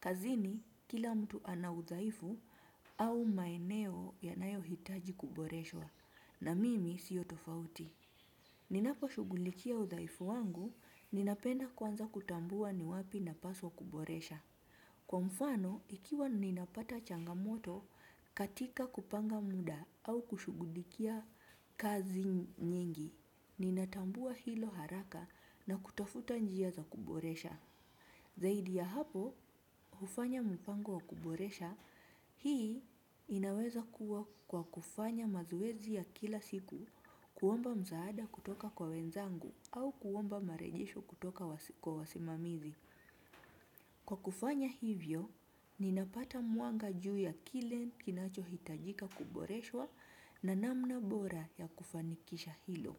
Kazini, kila mtu ana udaifu au maeneo yanayo hitaji kuboreswa na mimi siyo tofauti. Ninapo shugulikia udhaifu wangu, ninapenda kwanza kutambua ni wapi na paswa kuboresha. Kwa mfano, ikiwa ninapata changamoto katika kupanga muda au kushugulikia kazi nyingi, ninatambua hilo haraka na kutafuta njia za kuboresha. Zaidi ya hapo, hufanya mpango wa kuboresha, hii inaweza kuwa kwa kufanya mazowezi ya kila siku kuomba mzaada kutoka kwa wenzangu au kuomba marejesho kutoka kwa wasimamizi. Kwa kufanya hivyo, ninapata muanga juu ya kile kinacho hitajika kuboreshwa na namna bora ya kufanikisha hilo.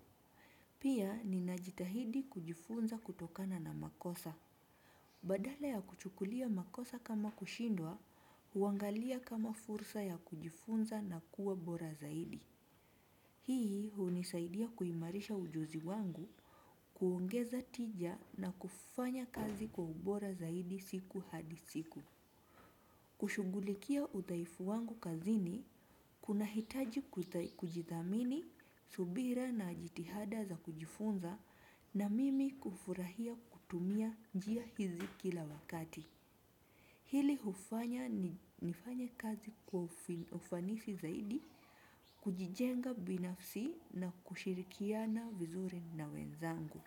Pia ninajitahidi kujifunza kutokana na makosa. Badala ya kuchukulia makosa kama kushindwa, uangalia kama fursa ya kujifunza na kuwa bora zaidi. Hii hunisaidia kuimarisha ujuzi wangu, kuongeza tija na kufanya kazi kwa bora zaidi siku hadi siku. Kushugulikia utaifu wangu kazini, kuna hitaji kujithamini, subira na jitihada za kujifunza. Na mimi kufurahia kutumia jia hizi kila wakati. Hili hufanya ni nifanya kazi kwa ufanisi zaidi. Kujijenga binafsi na kushirikiana vizuri na wenzangu.